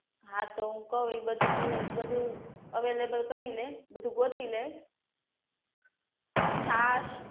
હા તો કહુ એ તુ બધુ તુ બધુ અવૈલેબલ કરી ને બધુ ગોતી લે છાસ